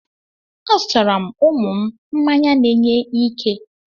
Azụtara m ụmụ m mmanya na-enye ike.